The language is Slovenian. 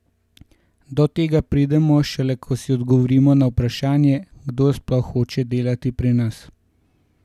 Do tega pridemo, šele ko si odgovorimo na vprašanje, kdo sploh hoče delati pri nas?